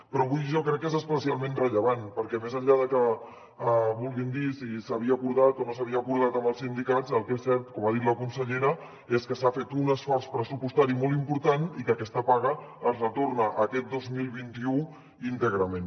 però avui jo crec que és especialment rellevant perquè més enllà de que vulguin dir si s’havia acordat o no s’havia acordat amb els sindicats el que és cert com ha dit la consellera és que s’ha fet un esforç pressupostari molt important i que aquesta paga es retorna aquest dos mil vint u íntegrament